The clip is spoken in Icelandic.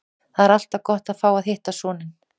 Það er alltaf gott að fá að hitta son sinn.